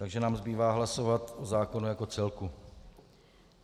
Takže nám zbývá hlasovat o zákonu jako celku.